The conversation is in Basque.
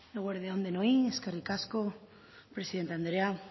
eguerdi on denoi eskerrik asko presidente andrea